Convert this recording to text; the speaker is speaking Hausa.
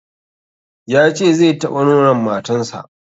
Ya ce zai taɓa nonon matan sa